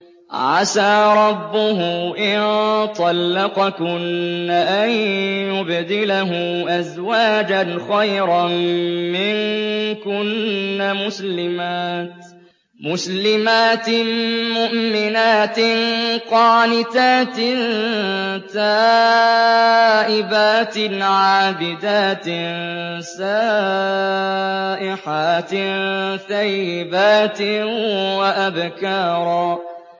عَسَىٰ رَبُّهُ إِن طَلَّقَكُنَّ أَن يُبْدِلَهُ أَزْوَاجًا خَيْرًا مِّنكُنَّ مُسْلِمَاتٍ مُّؤْمِنَاتٍ قَانِتَاتٍ تَائِبَاتٍ عَابِدَاتٍ سَائِحَاتٍ ثَيِّبَاتٍ وَأَبْكَارًا